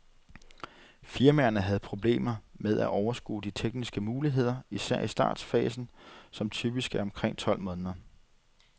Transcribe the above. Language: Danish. Firmaerne havde problemer med at overskue de tekniske muligheder, især i startfasen, som typisk er omkring tolv måneder.